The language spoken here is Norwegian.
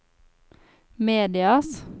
medias